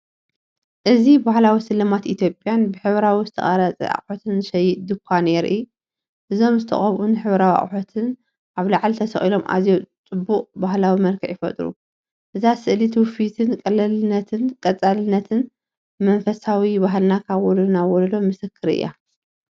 እዚ ባህላዊ ስልማት ኢትዮጵያን ብሕብራዊ ዝተቐርጸ ኣቑሑትን ዝሸይጥ ድኳን የርኢ። እዞም ዝተቐብኡን ሕብራዊን ኣቑሑት ኣብ ላዕሊ ተሰቒሎም ኣዝዩ ጽቡቕን ባህላውን መልክዕ ይፈጥሩ። እዛ ስእሊ ትውፊትን ቅልልነትን ቀጻልነትን መንፈሳዊ ባህልና ካብ ወለዶ ናብ ወለዶ ምስክር እያ።